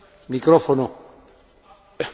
Dziękuję za przyjęcie pytania.